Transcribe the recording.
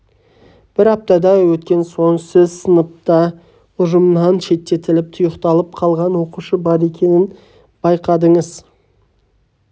бір аптадай өткен соң сіз сыныпта ұжымнан шеттетіліп тұйықталып қалған оқушы бар екенін байқадыңыз